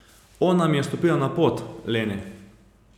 Ona mi je stopila na pot, Lene.